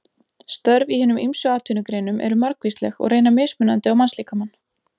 Störf í hinum ýmsu atvinnugreinum eru margvísleg og reyna mismunandi á mannslíkamann.